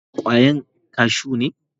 Shin kwayan kashu ne?